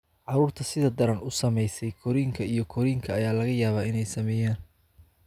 Carruurta sida daran u saamaysay, korriinka iyo korriinka ayaa laga yaabaa inay saameeyaan.